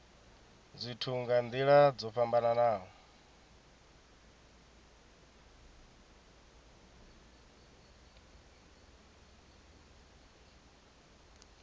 zwithu nga nila dzo fhambanaho